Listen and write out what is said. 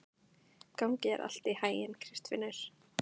Gangi þér allt í haginn, Kristfinnur.